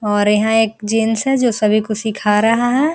और यहाँ एक जेंट्स है जो सभी को सीखा रहा है।